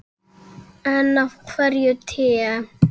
En af hverju te?